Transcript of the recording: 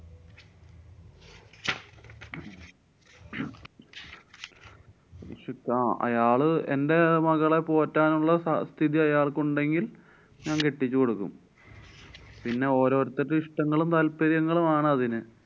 അയാള് എന്‍ടെ മകളെ പോറ്റാനുള്ള സ~ സ്ഥിതി അയാള്‍ക്കുണ്ടെങ്കില്‍ ഞാന്‍ കെട്ടിച്ചുകൊടുക്കും. പിന്നെ ഓരോരുത്തരുടെ ഇഷ്ട്ടങ്ങളും താല്‍പര്യങ്ങളും ആണതിന്.